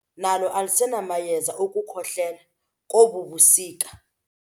Igumbi lamayeza nalo alisenamayeza okukhohlela kobu busika.